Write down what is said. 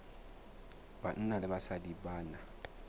banna le basadi ba na